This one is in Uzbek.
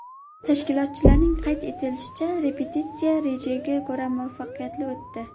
Tashkilotchilarning qayd etishicha, repetitsiya rejaga ko‘ra muvaffaqiyatli o‘tdi.